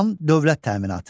Tam dövlət təminatı.